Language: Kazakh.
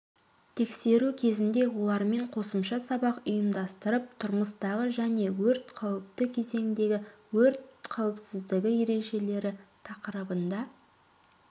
тексеру кезінде олармен қосымша сабақ ұйымдастырып тұрмыстағы және өрт қауіпті кезеңдегі өрт қауіпсіздігі ережелері тақырыбында